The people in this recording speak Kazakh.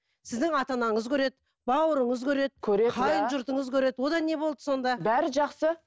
сіздің ата анаңыз көреді бауырыңыз көреді қайын жұртыңыз көреді одан не болды сонда бәрі жақсы